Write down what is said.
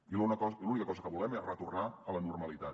i l’única cosa que volem és retornar a la normalitat